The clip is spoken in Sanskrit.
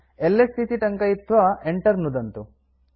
एलएस इति टङ्कयित्वा enter नुदन्तु